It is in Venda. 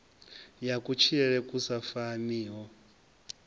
ya kutshilele ku sa faniho